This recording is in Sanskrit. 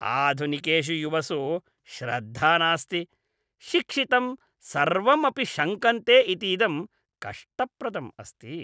आधुनिकेषु युवसु श्रद्धा नास्ति, शिक्षितं सर्वम् अपि शङ्कन्ते इतीदं कष्टप्रदम् अस्ति।